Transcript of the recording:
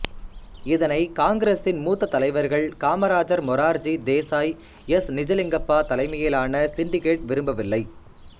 இதனை காங்கிரசின் மூத்த தலைவர்கள் காமராஜர் மொரார்ஜி தேசாய் எஸ் நிஜலிங்கப்பா தலைமையிலான சிண்டிகேட் விரும்பவில்லை